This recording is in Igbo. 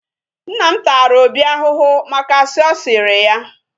Nna m tara Obi ahụhụ maka asị ọ sịrị ya.